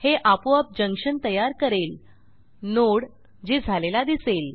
हे आपोआप जंक्शन तयार करेल नोड जे झालेला दिसेल